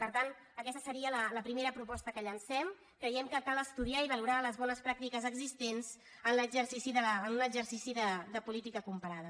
per tant aquesta seria la primera proposta que llancem creiem que cal estudiar i valorar les bones pràctiques existents en un exercici de política comparada